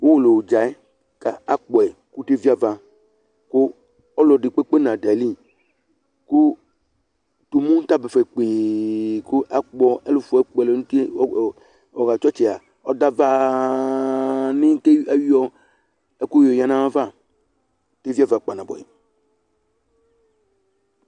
uwolowukʊtɛ, akpɔ yɩ kʊ eviava, kʊ ɔlɔdɩ kɛ na dʊ ayili, kʊ tumu dʊ ɛfɛ, kʊ akpɔ ɛfʊ akpɔ ɛlʊ n'uti kɔ dʊ ava, kʊ ayɔ ɛkʊ yɔ yǝ nʊ ayava, eviava kpanabʊɛ